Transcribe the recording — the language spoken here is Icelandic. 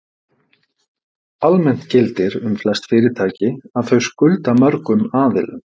Almennt gildir um flest fyrirtæki að þau skulda mörgum aðilum.